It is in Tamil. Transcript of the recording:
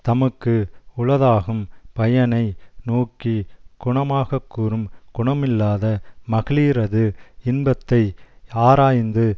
தமக்கு உளதாகும் பயனை நோக்கி குணமாகக்கூறும் குணமில்லாத மகளிரது இன்பத்தை ஆராய்ந்து